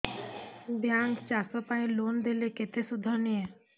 bank ଚାଷ ପାଇଁ loan ଦେଲେ କେତେ ସୁଧ ନିଏ